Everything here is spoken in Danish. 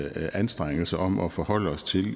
anstrengelse om at forholde os til